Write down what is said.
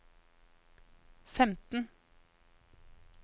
femten